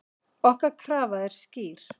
Okkar krafa er skýr.